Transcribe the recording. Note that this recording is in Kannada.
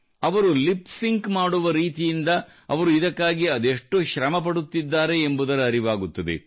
ಅವರು ಲಿಪ್ ಸಿಂಕ್ ಮಾಡುವ ರೀತಿಯಿಂದ ಅವರು ಇದಕ್ಕಾಗಿ ಅದೆಷ್ಟು ಶ್ರಮಪಡುತ್ತಿದ್ದಾರೆ ಎಂಬುದರ ಅರಿವಾಗುತ್ತದೆ